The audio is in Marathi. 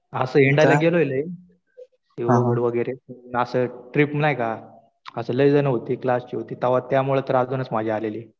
असं हिंडायला गेलो लय. वगैरे. पण असं ट्रिप नाही का, असं लय जणं होते क्लासचे होते. तेव्हा त्यामुळं तर अजूनच मजा आलेली.